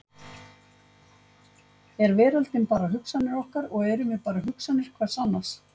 Er veröldin bara hugsanir okkar og erum við bara hugsanir hvert annars?